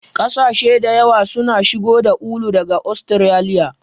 Kasashe da yawa suna shigo da ulu daga Ostiraliya.